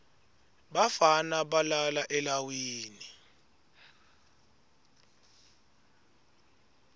bafana balala elawini